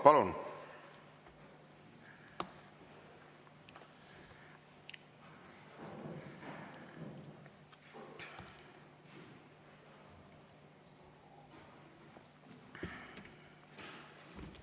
Palun!